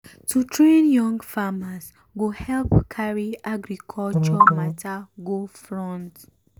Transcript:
to train young farmers go help carry agriculture matter go front.